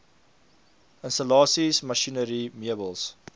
installasies masjinerie meubels